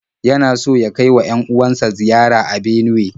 Yana so ya kai wa 'yan-uwan sa ziyara a Benuwe.